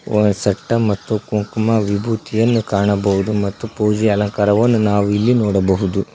ಒಂದು ಸೆಟ್ಟ ಮತ್ತು ಕುಂಕುಮ ವಿಭೂತಿಯನ್ನು ಕಾಣಬಹುದು ಮತ್ತು ಪೂಜೆ ಅಲಂಕಾರವನ್ನು ನಾವು ಇಲ್ಲಿ ನೋಡಬಹುದು.